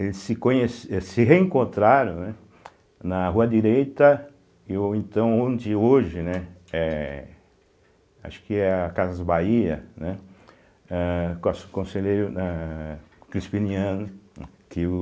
Eles se conhece eh se reencontraram, né, na Rua Direita, e o então onde hoje, né, eh acho que é a Casas Bahia, né, eh com a Conselheiro eh Crispiniano.